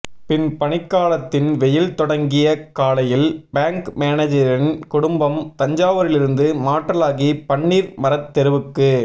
பின்பனிக்காலத்தின் வெயில் தொடங்கிய காலையில் பேங்க் மேனேஜரின் குடும்பம் தஞ்சாவூரிலிருந்து மாற்றலாகி பன்னீர்மரத் தெருவுக்கு